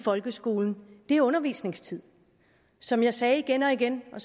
folkeskolen er undervisningstid som jeg sagde igen og igen og